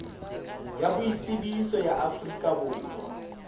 ya boitsebiso ya afrika borwa